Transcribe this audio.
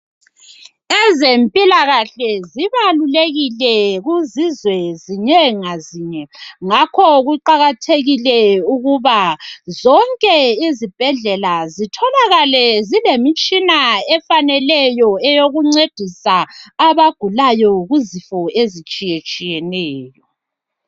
Ezempilakahle zibalulekile kuzizwe zinye ngazinye ngakho kuqakathekile ukuba zonke izibhedlela zitholakale zilemitshina efaneleyo eyokuncedisa abagulayo kuzifo ezitshiyetshiyeneyo.